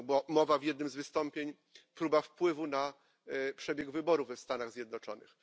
mowa w jednym z wystąpień, próba wpływu na przebieg wyborów w Stanach Zjednoczonych.